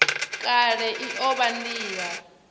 kale i o vha nila